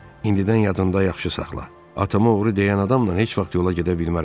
İndidən yadında yaxşı saxla: atama oğru deyən adamla heç vaxt yola gedə bilmərəm.